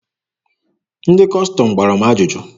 Ndị Kọstọm gbara m ajụjụ.